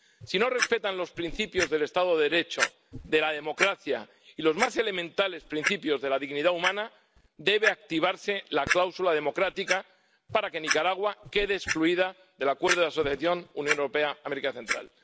Si no respetan los principios del Estado de Derecho, de la democracia y los más elementales principios de la dignidad humana debe activarse la cláusula democrática para que Nicaragua quede excluida del Acuerdo de Asociación Unión Europea América Central.